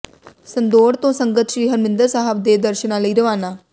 ਸੰਦੌੜ ਤੋਂ ਸੰਗਤ ਸ੍ਰੀ ਹਰਿਮੰਦਰ ਸਾਹਿਬ ਦੇ ਦਰਸ਼ਨਾਂ ਲਈ ਰਵਾਨਾ